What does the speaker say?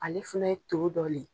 Ale fana ye to dɔ de ye.